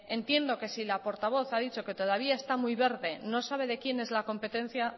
entiendo que si la portavoz ha dicho que todavía está muy verde no sabe de quién es la competencia